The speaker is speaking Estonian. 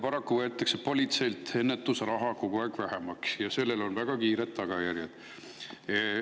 Paraku võetakse politseilt ennetusraha kogu aeg vähemaks ja sellel on väga kiired tagajärjed.